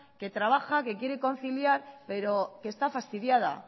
que trabaja que quiere conciliar pero que está fastidiada